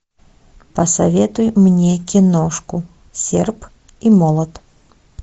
посоветуй мне киношку серп и молот